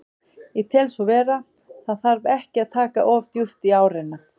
Ég tel svo vera, það þarf ekki að taka of djúpt í árina.